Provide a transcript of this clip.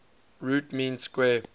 root mean square